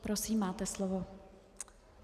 Prosím, máte slovo.